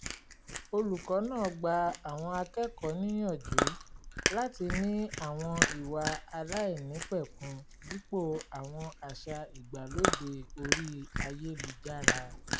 olùkọ́ náà gba àwọn akẹ́kọ̀ọ́ níyànjú láti ní àwọn ìwà aláìnípẹ̀kun dípò àwọn àṣà ìgbàlódé orí ayélujára